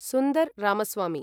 Sundar Ramaswamy